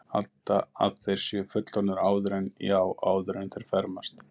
Halda að þeir séu fullorðnir áður en, já, áður en þeir fermast.